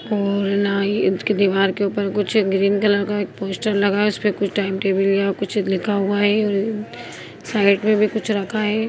और ना ही उसकी दिवार के ऊपर कुछ ग्रीन कलर का एक पोस्टर लगा है उसपे कुछ टाइम टेबल या कुछ लिखा हुआ है और साइड मे भी कुछ रखा है ।